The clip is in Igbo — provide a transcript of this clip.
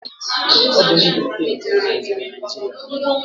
Ọ bụ ndị Briten kolonaiziri Naijiria.